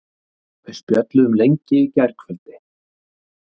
Við spjölluðum lengi í gærkvöldi.